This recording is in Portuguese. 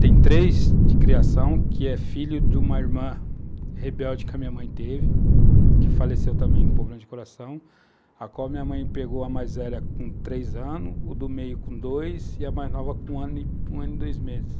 Tem três de criação, que é filho de uma irmã rebelde que a minha mãe teve, que faleceu também com problema de coração, a qual minha mãe pegou a mais velha com três anos, o do meio com dois, e a mais nova com um ano e dois meses.